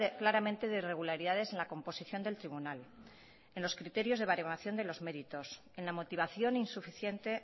claramente de irregularidades en la composición del tribunal en los criterios de baremación de los méritos en la motivación insuficiente